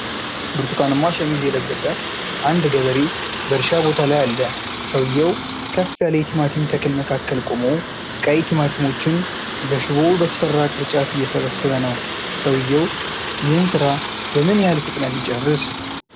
ብርቱካንማ ሸሚዝ የለበሰ አንድ ገበሬ በእርሻ ቦታ ላይ አለ። ሰውዬው ከፍ ያለ የቲማቲም ተክል መካከል ቆሞ፣ ቀይ ቲማቲሞችን በሽቦ በተሠራ ቅርጫት እየሰበሰበ ነው። ሰውዬው ይህን ስራ በምን ያህል ፍጥነት ይጨርስ?